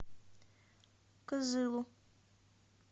кызылу